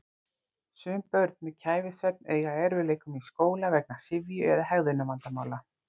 Sum börn með kæfisvefn eiga í erfiðleikum í skóla vegna syfju eða hegðunarvandamála.